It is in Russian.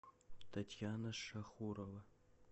татьяна шахурова